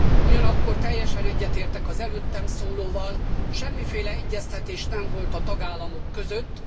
Ugyanakkor teljesen egyetértek az előttem szólóval semmiféle egyeztetés nem volt a tagállamok között.